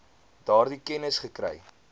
daardie kennis gekry